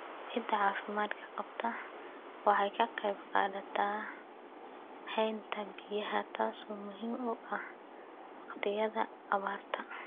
Ciidda caafimaadka qabta waxay ka qaybqaadataa haynta biyaha, taasoo muhiim u ah waqtiyada abaarta.